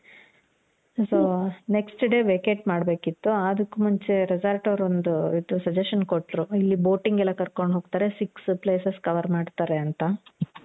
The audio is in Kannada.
so next day vacate ಮಾಡಬೇಕಿತ್ತು. ಅದುಕ್ಕು ಮುಂಚೆ resort ಅವ್ರು ಒಂದು ಇದು suggestion ಕೊಟ್ರು ಇಲ್ಲಿ boating ಎಲ್ಲಾ ಕರ್ಕೊಂಡು ಹೋಗ್ತಾರೆ. six places cover ಮಾಡ್ತಾರೆ ಅಂತ